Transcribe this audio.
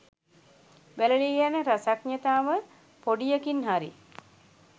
වැලලී යන රසඥතාව පොඩියකින් හරි